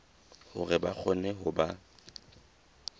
hore ba kgone ho ba